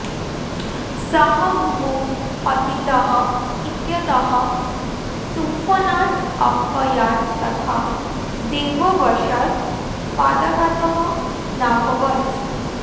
सः भूमौ पतितः इत्यतः तुम्फनात् अपयात् तथा दैववशात् पादाघातः नाभवत्